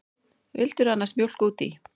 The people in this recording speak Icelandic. Vildirðu annars mjólk út í?